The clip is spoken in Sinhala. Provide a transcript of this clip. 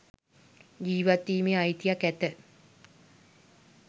ජීවත්වීමේ අයිතියක් ඇත.